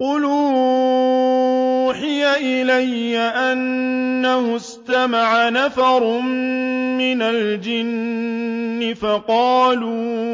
قُلْ أُوحِيَ إِلَيَّ أَنَّهُ اسْتَمَعَ نَفَرٌ مِّنَ الْجِنِّ فَقَالُوا